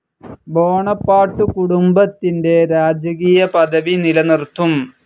Bonaparte കുടുംബത്തിന്റെ രാജകീയ പദവി നിലനിർത്തും.